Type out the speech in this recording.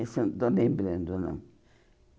Esse eu não estou lembrando, não.